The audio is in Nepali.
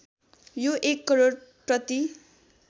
यो १ करोड प्रति